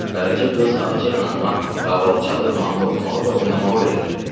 Qaraca qız ağacə xanıma qaval çalıb mahnı oxumağı və oynamağı öyrədirdi.